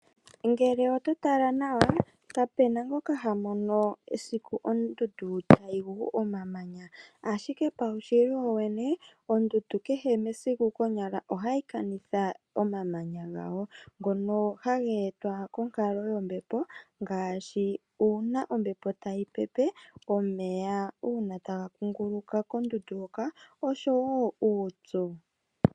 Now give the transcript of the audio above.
Ngele ototala Nawa kapena ngoka hamon esiku ondundu tayingu omamanya, ashike pawushili wowene ondundu kehe mesiku ohayi kanitha omamanya ngawo, ngono hangetwa konkalo yombepo ngashi una ombepo tayipepe, una omeya tanga kunguluka kondundu hoka oshowo uupyu.